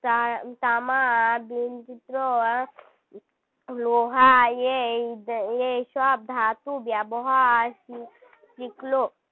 তা~ তামা . লোহা এই এই সব ধাতু ব্যবহার শিখলো